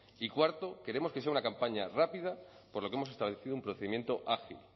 y cuarto queremos que sea una campaña rápida por lo que hemos establecido un procedimiento ágil